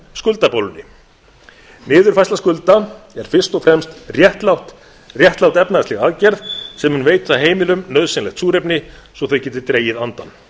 eignabólunnar skuldabólunni niðurfærsla skulda er fyrst og fremst réttlát efnahagsleg aðgerð sem mun veita heimilum nauðsynlegt súrefni svo að þau geti dregið andann